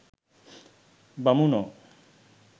බමුණෝ